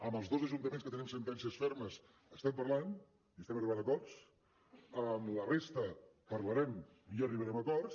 amb els dos ajuntaments que tenim sentències fermes estem parlant i estem arribant a acords amb la resta parlarem i arribarem a acords